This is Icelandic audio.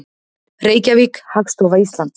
Reykjavík, Hagstofa Íslands.